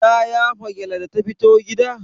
Ta yafa gyalle da ta fito gida?